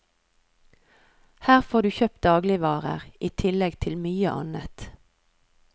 Her får du kjøpt dagligvarer, i tillegg til mye annet.